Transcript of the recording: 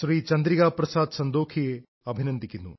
ചന്ദ്രികാ പ്രസാദ് സന്തോഖിയെ അഭിനന്ദിക്കുന്നു